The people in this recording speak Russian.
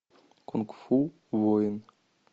кунг фу воин